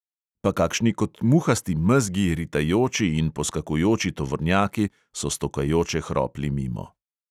Pa kakšni kot muhasti mezgi ritajoči in poskakujoči tovornjaki so stokajoče hropli mimo.